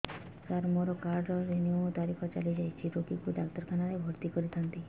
ସାର ମୋର card renew ତାରିଖ ଚାଲି ଯାଇଛି ରୋଗୀକୁ ଡାକ୍ତରଖାନା ରେ ଭର୍ତି କରିଥାନ୍ତି